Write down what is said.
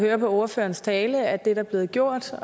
høre på ordførerens tale at der er blevet gjort og